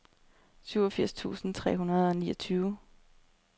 syvogfirs tusind tre hundrede og niogtyve